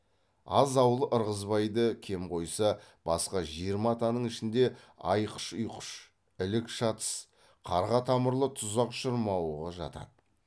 аз ауыл ырғызбайды кем қойса басқа жиырма атаның ішінде айқыш ұйқыш ілік шатыс қарға тамырлы тұзақ шырмауығы жатады